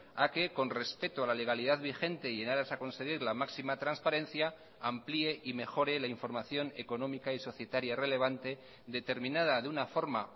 a que con respeto a la legalidad vigente y en aras a conseguir la máxima transparencia amplié y mejore la información económica y societaria relevante determinada de una forma